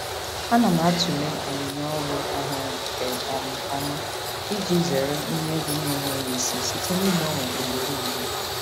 Ana m atụle onyinye ọrụ ọhụrụ nke um ọma iji zere ihe egwu na-enweghị isi site n'ịgbanwe ugboro ugboro.